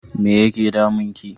Me yake damun ki?